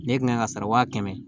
Ne kan ka sara wa kɛmɛ